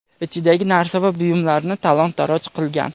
ichidagi narsa va buyumlarni talon-toroj qilgan.